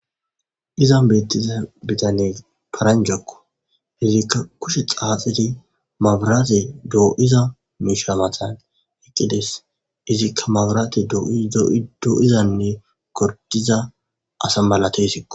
Izan betiza bitaney paranjako , izika kushe xaaxidinne mabiratey do'iza mish matan utides, izika mabirey do'zane girdiza asa malatesko .